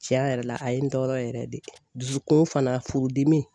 Tiɲɛ yɛrɛ la a ye n tɔɔrɔ yɛrɛ de dusukun fana furudimi.